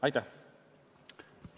Aitäh!